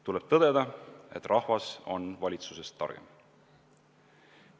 Tuleb tõdeda, et rahvas on valitsusest targem.